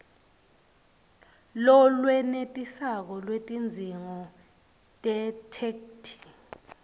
lolwenetisako lwetidzingo tetheksthi